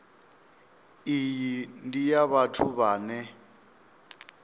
iyi ndi ya vhathu vhane